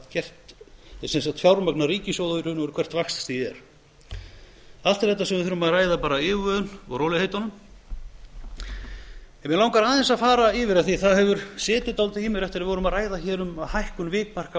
raun og veru hvert vaxtastigið er allt er þetta sem við þurfum að ræða af yfirvegun og í rólegheitunum mig langar aðeins að fara yfir það af því að það hefur setið dálítið í mér eftir að við vorum að ræða um hækkun vikmarka á